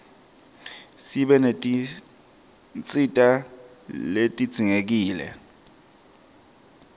sibe netinsita letidzingekile